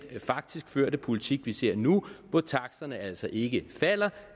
faktisk førte politik vi ser nu hvor taksterne altså ikke falder